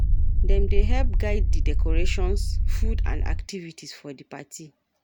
Them dey help guide di decorations, food and activities for di party.